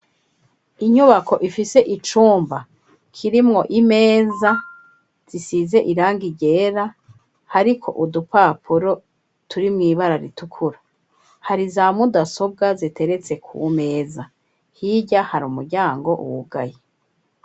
Inyubako ifise icumba kirimwo imeza zisize irangi ryera ,hariko udupapuro turi mw'ibara ritukura ,hari za mudasobwa ziteretse ku meza ,hirya hari umuryango wugaye.